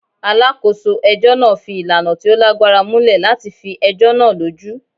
Alákòso ẹ̀jọ́ náà fi ìlànà tí o lágbára múlẹ̀ látifi ẹ̀jọ́ náà lójú.